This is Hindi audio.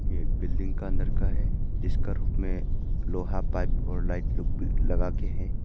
बिल्डिंग का अंदर का है इसका रूफ में लोहा पाइप और लाइट लो भी लगा के हैं।